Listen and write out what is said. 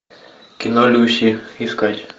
кино люси искать